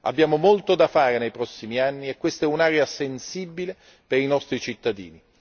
Abbiamo molto da fare nei prossimi anni e questa è un'area sensibile per i nostri cittadini.